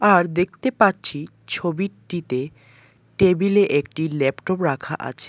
আর দেখতে পাচ্ছি ছবিটিতে টেবিলে একটি ল্যাপটপ রাখা আছে।